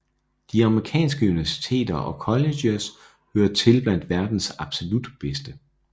De amerikanske universiteter og colleges hører til blandt verdens absolut bedste